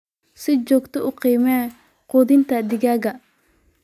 Si joogto ah u qiimee quudinta digaagga.